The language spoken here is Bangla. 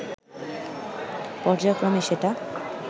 পর্যায়ক্রমে সেটা